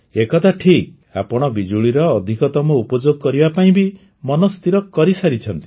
ଏ କଥା ଠିକ୍ ଆପଣ ବିଜୁଳିର ଅଧିକତମ ଉପଯୋଗ କରିବା ପାଇଁ ବି ମନ ସ୍ଥିର କରିସାରିଛନ୍ତି